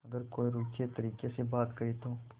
अगर कोई रूखे तरीके से बात करे तो